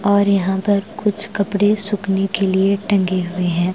और यहाँ पर कुछ कपड़े सुखने के लिए टँगे हुए हैं।